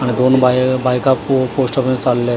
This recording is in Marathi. आणि दोन बाय बायका पो पोस्टर मध्ये चाललंय.